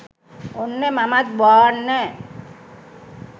ඔන්න මමත් බාන්න